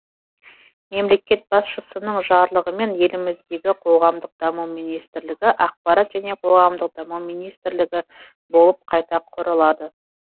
мемлекет басшысының жарлығымен еліміздегі қоғамдық даму министрлігі ақпарат және қоғамдық даму министрлігі болып қайта құрылады